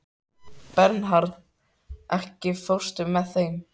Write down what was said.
Bernharð, ekki fórstu með þeim?